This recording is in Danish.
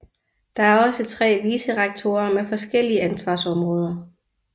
Der er også tre vicerektorer med forskellige ansvarsområder